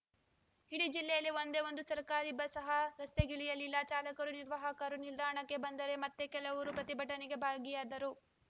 ಇಡೀ ಜಿಲ್ಲೆಯಲ್ಲಿ ಒಂದೇ ಒಂದು ಸರ್ಕಾರಿ ಬಸ್‌ ಸಹ ರಸ್ತೆಗಿಳಿಯಲಿಲ್ಲ ಚಾಲಕರು ನಿರ್ವಾಹಕರು ನಿಲ್ದಾಣಕ್ಕೆ ಬಂದರೆ ಮತ್ತೆ ಕೆಲವರು ಪ್ರತಿಭಟನೆಯಲ್ಲಿ ಭಾಗಿಯಾದರು